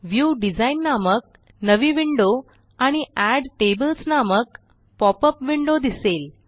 view design नामक नवी window आणि एड टेबल्स नामक पॉपअप विंडो दिसेल